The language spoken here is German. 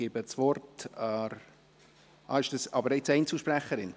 Ich gebe das Wort …– Sind Sie jetzt Einzelsprecherin?